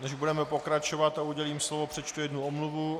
Než budeme pokračovat a udělím slovo, přečtu jednu omluvu.